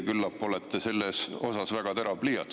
Küllap teie olete selles küsimuses väga terav pliiats.